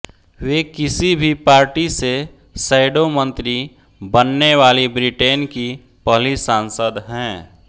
वे किसी भी पार्टी से शैडो मंत्री बनने वाली ब्रिटेन की पहली सांसद हैं